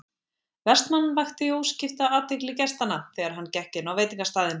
Vestmann vakti óskipta athygli gestanna þegar hann gekk inn á veitingastaðinn.